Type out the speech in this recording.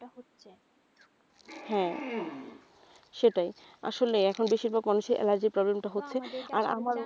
হ্যাঁ সেটাই আসলে এখন বেশিরভাগ মানুষের allergy এর problem টা হচ্ছে, আমা আমারো,